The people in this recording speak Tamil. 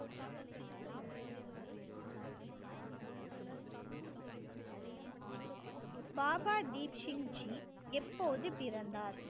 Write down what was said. பாபா தீப்சிங் ஜி எப்போது பிறந்தார்